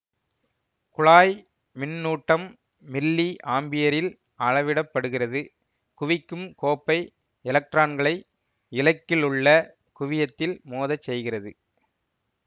குழாய் மின்னூட்டம் மில்லி ஆம்பியரில் அளவிடப்படுகிறது குவிக்கும் கோப்பை எலக்ட்ரான்களை இலக்கிலுள்ள குவியத்தில் மோதச் செய்கிறது